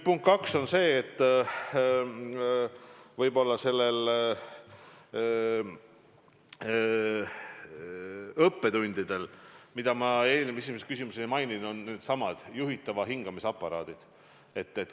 Punkt kaks on see, et üks õppetund, mida ma esimesele küsimusele vastates ei maininud, on needsamad juhitava hingamise aparaadid.